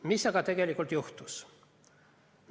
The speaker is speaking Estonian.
Mis aga tegelikult juhtus?